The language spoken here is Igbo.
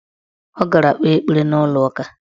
Ọ gara kpee ekpere n' ụlọụka.